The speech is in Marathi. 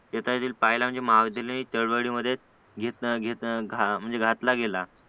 पाहिजे म्हणजे महाविद्यालयीन चळवळीमध्ये घेतला घेतला म्हणजे घातला गेला